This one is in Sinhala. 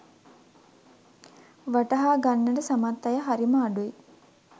වටහා ගන්නට සමත් අය හරිම අඩුයි.